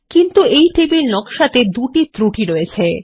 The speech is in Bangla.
কিন্তু এই টেবিল নকশাতে দুটি ত্রুটি রয়েছে